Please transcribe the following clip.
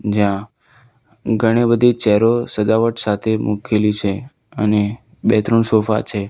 જ્યાં ઘણી બધી ચેરો સજાવટ સાથે મૂકેલી છે અને બે ત્રણ સોફા છે.